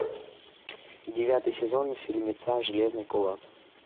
девятый сезон фильмеца железный кулак